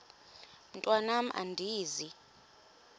mntwan am andizi